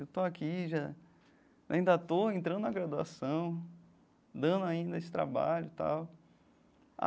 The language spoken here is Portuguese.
Eu estou aqui já, ainda estou entrando na graduação, dando ainda esse trabalho e tal.